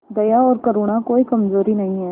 दया और करुणा कोई कमजोरी नहीं है